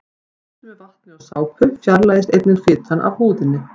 Við þvott með vatni og sápu fjarlægist einnig fitan af húðinni.